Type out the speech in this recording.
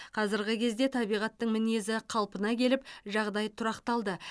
қазіргі кезде табиғаттың мінезі қалпына келіп жағдай тұрақталды